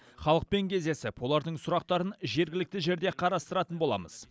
халықпен кездесіп олардың сұрақтарын жергілікті жерде қарастыратын боламыз